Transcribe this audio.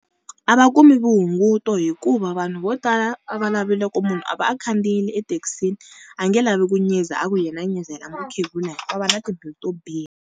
A va kumi vuhunguto hikuva vanhu vo tala a va lavile ku munhu a va a khandziyile ethekisini a nge lavi ku nyiza a ku yena nyizela mukhegula hikuva va na tibilu to biha.